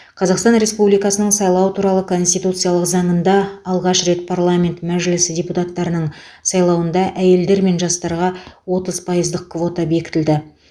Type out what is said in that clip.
қазақстан республикасының сайлау туралы конституциялық заңында алғаш рет парламент мәжілісі депутаттарының сайлауында әйелдер мен жастарға отыз пайыздық квота бекітілді